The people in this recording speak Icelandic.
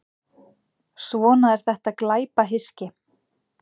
Svona er þetta glæpahyski.